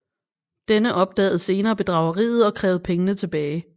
Denne opdagede senere bedrageriet og krævede pengene tilbage